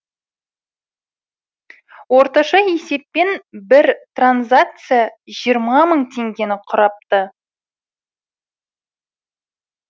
орташа есеппен бір транзакция жиырма мың теңгені құрапты